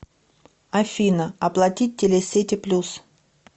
афина оплатить телесети плюс